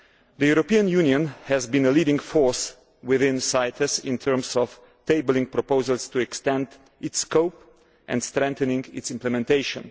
The European Union has been a leading force within CITES in terms of tabling proposals to extend its scope and strengthening its implementation.